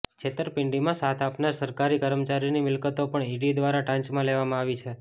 છેતરપિંડીમાં સાથ આપનાર સરકારી કર્મચારીની મિલ્કતો પણ ઈડી દ્વારા ટાંચમાં લેવામાં આવી છે